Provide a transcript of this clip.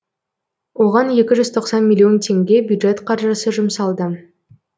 оған екі жүз тоқсан миллион теңге бюджет қаржысы жұмсалды